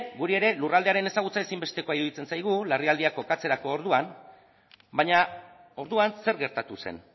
guri ere lurraldearen ezagutza ezinbestekoa iruditzen zaigu larrialdiak kokatzerako orduan baina orduan zer gertatu zen